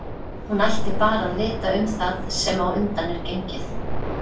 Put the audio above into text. Hún ætti bara að vita um það sem á undan er gengið.